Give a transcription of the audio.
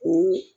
O